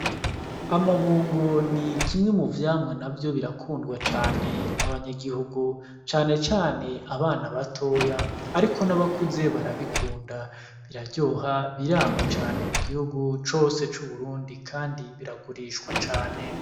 Amabungo ni kimwe mu vyamwa na vyo birakundwa cane n'abanyagihugu canecane abana batoya, ariko n'abakuze barabikunda biraryoha birama cane mu gihugu cose c'uburundi, kandi biragurishwa cane.